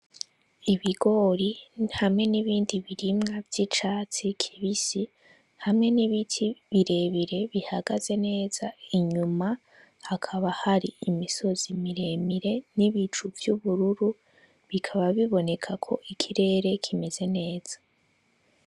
Ibigori hamwe n'ibindi birimwa vy'icatsi kibisi hamwe n'ibiti birebire bihagaze neza ,inyuma hari imisozi miremire n'ibicu vy'ubururu bikaba bibonekako ikirere kimeze neza.